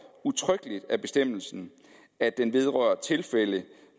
udtrykkeligt af bestemmelsen at den vedrører tilfælde